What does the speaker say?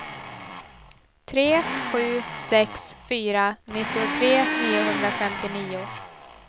tre sju sex fyra nittiotre niohundrafemtionio